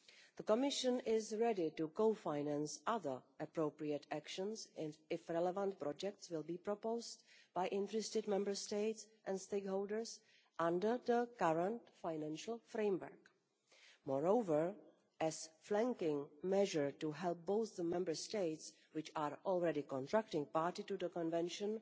The Commission is ready to co finance other appropriate actions if relevant projects are proposed by interested Member States and stakeholders under the current financial framework. Moreover, as a flanking measure to help both the Member States which are already contracting parties to the Convention